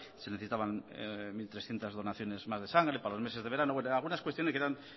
se necesitaban mil trescientos donaciones más de sangre para los meses de verano bueno algunas cuestiones le quedan